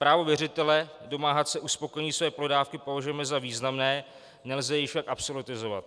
Právo věřitele domáhat se uspokojení své pohledávky považujeme za významné, nelze jej však absolutizovat.